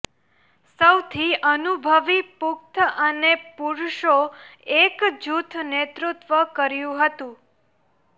સૌથી અનુભવી પુખ્ત અને પુરુષો એક જૂથ નેતૃત્વ કર્યું હતું